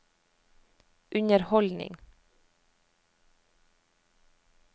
underholdning